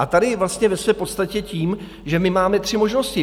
A tady vlastně ve své podstatě tím, že my máme tři možnosti.